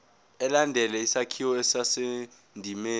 ilandele isakhiwo esisendimeni